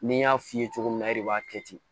Ni n y'a f'i ye cogo min na e de b'a kɛ ten